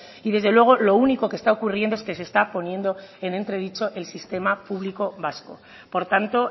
y desde luego lo único que está ocurriendo es que se está poniendo en entredicho el sistema público vasco por tanto